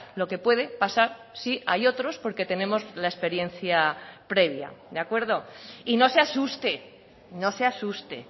lo que puede pasar si hay otros porque tenemos la experiencia previa de acuerdo y no se asuste no se asuste